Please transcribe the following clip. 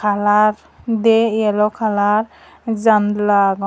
kalar diye yello kalar janla agon.